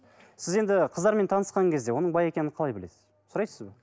сіз енді қыздармен танысқан кезде оның бай екенін қалай білесіз сұрайсыз ба